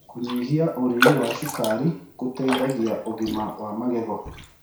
Kũnyĩhĩa ũrĩĩ wa cũkarĩ ũteĩthagĩa ũgima wa magego